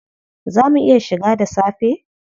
Zaa mu iya shiga da safe?